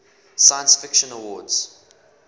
science fiction awards